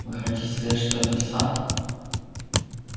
вы хотите сказать что сатт